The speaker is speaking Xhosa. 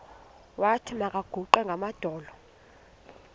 wathi makaguqe ngamadolo